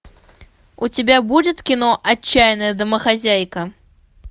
у тебя будет кино отчаянная домохозяйка